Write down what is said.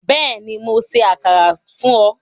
Bẹ́ẹ̀ni, Mó ṣẹ àkàrà fún ọ